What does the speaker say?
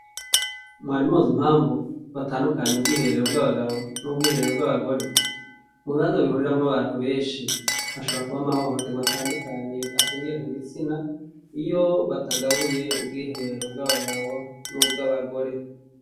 Mwarimuzi mpamvu batandukanye ubwiherero bw'abagabo n'ubwiherero bw'abagore mu nanza bihuriramwo abantu benshi hashabra kuba amahohoterwa atandukanye ashingiye ku gitsina iyo batagabuye ubwihereero bw'abagabo n'ubwo abagore.